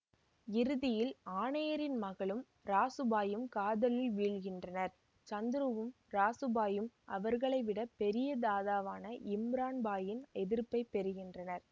இறுதியில் ஆணையரின் மகளும் ராசுபாயும் காதலில் வீழ்கின்றனர் சந்துருவும் ராசுபாயும் அவர்களை விட பெரிய தாதாவான இம்ரன் பாயின் எதிர்ப்பை பெறுகின்றனர்